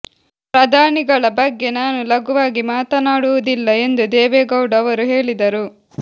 ಪ್ರಧಾನಿಗಳ ಬಗ್ಗೆ ನಾನು ಲಘುವಾಗಿ ಮಾತನಾಡುವುದಿಲ್ಲ ಎಂದು ದೇವೇಗೌಡ ಅವರು ಹೇಳಿದರು